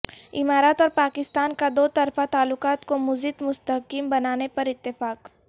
امارات اور پاکستان کا دو طرفہ تعلقات کو مزید مستحکم بنانے پر اتفاق